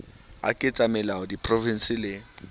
a ketsamelao a diprofense le